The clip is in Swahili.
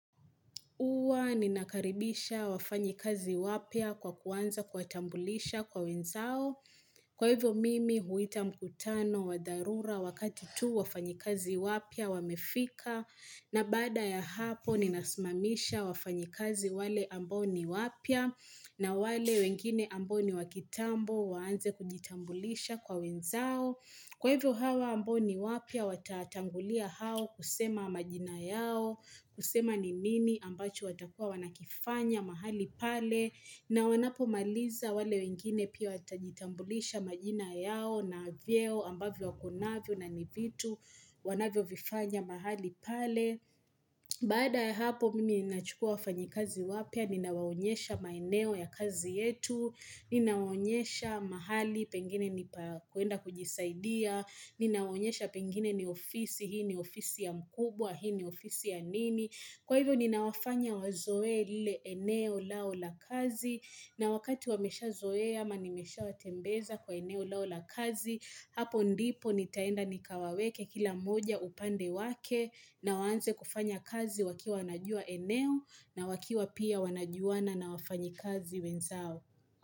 Huwa ninakaribisha wafanyikazi wapya kwa kuanza kuwatambulisha kwa wenzao. Kwa hivyo mimi huita mkutano wa dharura wakati tu wafanyikazi wapya wamefika. Na baada ya hapo ninasimamisha wafanyikazi wale ambao ni wapya na wale wengine ambao ni wa kitambo waanze kujitambulisha kwa wenzao. Kwa hivyo hawa ambao ni wapya watatangulia hao kusema majina yao, kusema ni nini ambacho watakuwa wanakifanya mahali pale na wanapomaliza wale wengine pia watajitambulisha majina yao na vyeo ambavyo wako navyo na ni vitu wanavyo vifanya mahali pale. Baada ya hapo mimi ninachukua wafanyi kazi wapya. Ninawaonyesha maeneo ya kazi yetu Ninawaonyesha mahali pengine ni kuenda kujisaidia. Ninawaonyesha pengine ni ofisi. Hii ni ofisi ya mkubwa, hii ni ofisi ya nini. Kwa hivyo ninawafanya wazoee lile eneo lao la kazi na wakati wameshazoe ama nimesha watembeza kwa eneo lao la kazi. Hapo ndipo nitaenda nikawaweke kila moja upande wake na waanze kufanya kazi wakiwa wanajua eneo na wakiwa pia wanajuana na wafanyikazi wenzao.